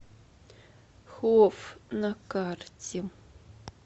хофф на карте